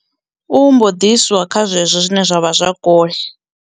U mbo ḓi iswa kha zwezwo zwine zwa vha zwa kule.